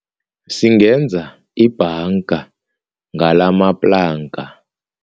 Singenza ibhanga ngalamaplanka.